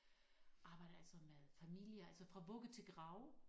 Arbejder altså med familier altså fra vugge til grav